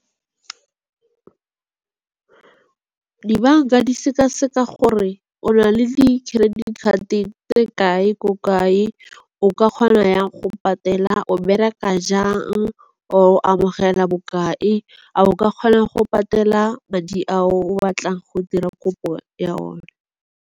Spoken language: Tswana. Dibanka di seka-seka gore o na le di-credit card-e tse kae, ko kae? O ka kgona yang go patela, o bereka jang, o amogela bokae, a o ka kgona go patela madi a o batlang go dira kopo ya one?